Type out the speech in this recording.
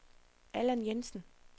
Allan Jensen